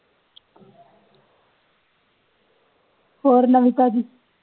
ਹੋਰ ਨਵੀ ਤਾਜੀ